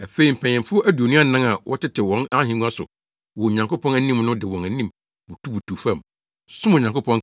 Afei mpanyimfo aduonu anan a wɔtete wɔn ahengua so wɔ Onyankopɔn anim no de wɔn anim butubutuw fam, som Onyankopɔn,